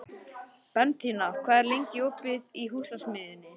Bentína, hvað er lengi opið í Húsasmiðjunni?